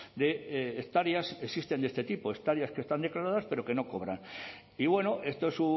de hectáreas existen de este tipo hectáreas que están declaradas pero que no cobran y esto es